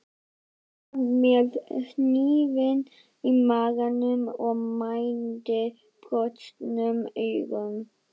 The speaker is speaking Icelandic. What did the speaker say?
Hann var með hnífinn í maganum og mændi brostnum augum.